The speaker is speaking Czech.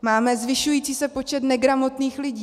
Máme zvyšující se počet negramotných lidí.